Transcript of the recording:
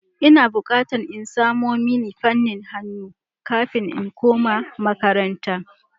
Ina bukatan in samo mini fanin hannu kafin in koma makaranta.